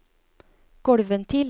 gulvventil